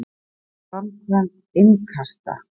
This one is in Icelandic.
Framkvæmd innkasta?